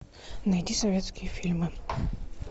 найди советские фильмы